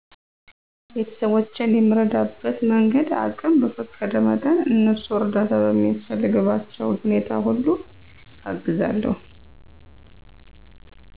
ቤተስቦቼን የምረዳበት መንገድ አቅም በፈቀደ መጠን እነሱ እርዳታ በሚያስፈልግባቸዉ ሁኔታ ሁሉ አግዛለዉ